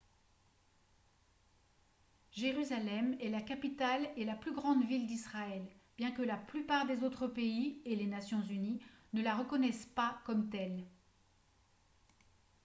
jérusalem est la capitale et la plus grande ville d'israël bien que la plupart des autres pays et les nations unies ne la reconnaissent pas comme telle